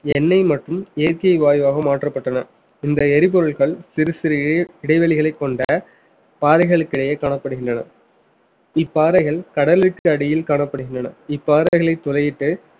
எண்ணெய் மற்றும் இயற்கை வாயுவாக மாற்றப்பட்டன இந்த எரிபொருள்கள் சிறு சிறு இடைவெளிகளைக் கொண்ட பாறைகளுக்கு இடையே காணப்படுகின்றன இப்பாறைகள் கடலுக்கு அடியில் காணப்படுகின்றன இப்பாறைகளை துளையிட்டு